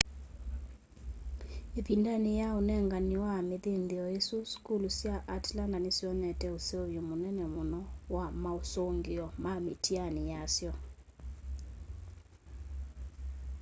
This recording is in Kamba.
ivindani ya unengani wa mithinthio isu sukulu sya atlanta nisyonete useuvyo munene muno wa mausungio ma mitiani yasyo